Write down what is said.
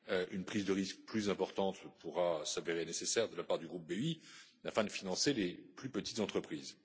Une prise de risque plus importante pourra s'avérer nécessaire de la part du groupe BEI afin de financer les plus petites entreprises.